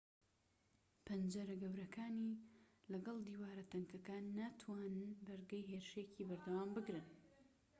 پەنجەرە گەورەکانی لەگەڵ دیوارە تەنکەکانی ناتوانن بەرگەی هێرشێکی بەردەوام بگرن